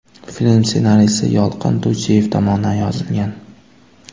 Film ssenariysi Yolqin To‘ychiyev tomonidan yozilgan.